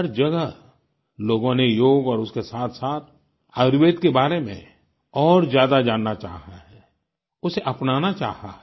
हर जगह लोगों ने योग और उसके साथसाथ आयुर्वेद के बारे में और ज्यादा जानना चाहा है उसे अपनाना चाहा है